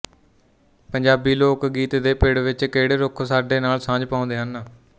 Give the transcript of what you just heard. ਪੰਜਾਬੀ ਲੋਕ ਗੀਤ ਦੇ ਪਿੜ ਵਿੱਚ ਕਿਹੜੇ ਰੁੱਖ ਸਾਡੇ ਨਾਲ ਸਾਂਝ ਪਾਉਂਦੇ ਹਨ